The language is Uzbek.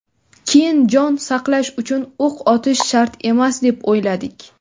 keyin jon saqlash uchun o‘q otish shart emas deb o‘yladik.